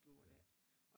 Ja